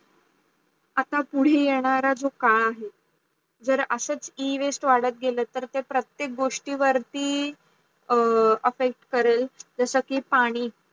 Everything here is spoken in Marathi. आता पुढे येणारा जो कड आहे जर आशेच E-waste वडत् गेल तर प्रत्येक गोष्ट वरती Effect करेल जस की पाणी